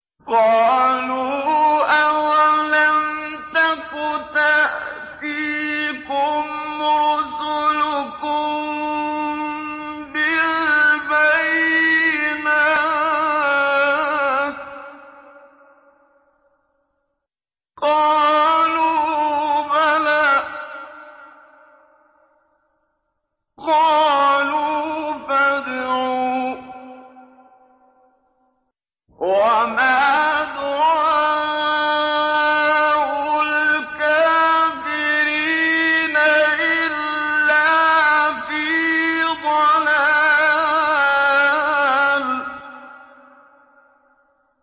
قَالُوا أَوَلَمْ تَكُ تَأْتِيكُمْ رُسُلُكُم بِالْبَيِّنَاتِ ۖ قَالُوا بَلَىٰ ۚ قَالُوا فَادْعُوا ۗ وَمَا دُعَاءُ الْكَافِرِينَ إِلَّا فِي ضَلَالٍ